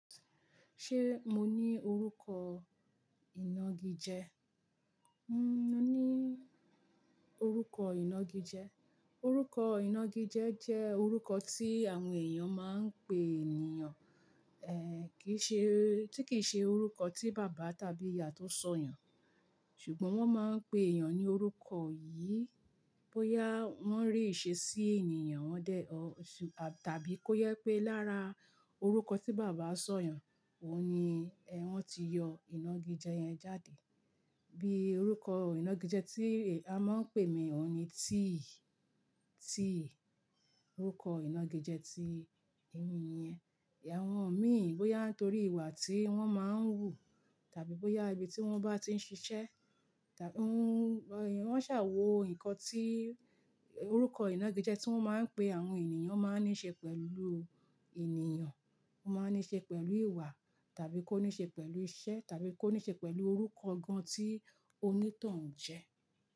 Ṣé mo ní orúkọ ìnagijẹ? Mo ní orúkọ ìnagijẹ. Orúkọ ìnagijẹ jẹ́ orúkọ tí àwọn èèyàn máa ń pè ènìyàn, ẹ́ kìí ṣe, tí kìí ṣe orúkọ tí bàbá tàbí ìyá tó sọ yàn. Ṣùgbọ́n wọ́n máa ń pe èèyàn ní orúkọ yìí bóyá wọ́n rí ìṣe sí ènìyàn wọn dé ọ̀, tàbí kó yẹ pé lára orúkọ tí bàbá sọ yàn, òun ni ẹ́ wọ́n ti yọ ìnagijẹ yẹn jáde. Bí orúkọ ìnagijẹ tí e a máa ń pè mí òun ni T. T orúkọ ìnagijẹ tí èmi yẹn. Ẹ̀ àwọn mi, bóyá nítorí ìwà tí wọ́n máa ń hù, tàbí bóyá ibi tí wọ́n bá ti ń ṣiṣẹ́, tàbí wọ́n ṣàwó nǹkan tí orúkọ ìnagijẹ tí wọ́n máa ń pe àwọn ènìyàn máa ń níṣe pẹ̀lú ènìyàn, ó máa ń níṣe pẹ̀lú ìwà, tàbí kó níṣe pẹ̀lú iṣẹ́ tàbí kó níṣe pẹ̀lú orúkọ gan-an tí onítàn jẹ́.